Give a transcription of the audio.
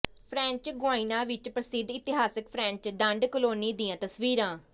French Guiana ਵਿਚ ਪ੍ਰਸਿੱਧ ਇਤਿਹਾਸਕ ਫ਼ਰੈਂਚ ਦੰਡ ਕਾਲੋਨੀ ਦੀਆਂ ਤਸਵੀਰਾਂ